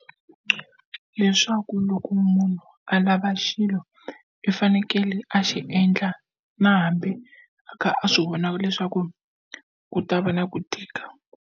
Leswaku loko munhu a lava xilo i fanekele a xi endla na hambi a kha a swi vona leswaku ku ta va na ku tika.